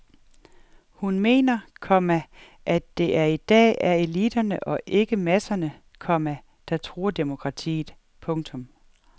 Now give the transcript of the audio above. Hun mener, komma at det i dag er eliterne og ikke masserne, komma der truer demokratiet. punktum